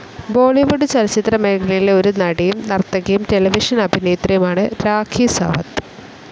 ബോളിവുഡ് ചലച്ചിത്ര മേഖലയിലെ ഒരു നടിയും, നർത്തകിയും, ടെലിവിഷൻ അഭിനേത്രിയുമാണ് രാഖി സാവന്ത്.